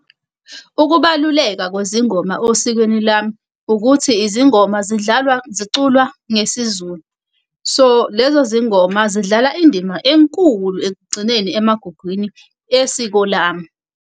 Ukubaluleka kwezingoma osikweni lami, ukuthi izingoma zidlalwa ziculwa ngesizulu. So lezo zingoma zidlala indima enkulu ekugcineni emagugwini esiko lami.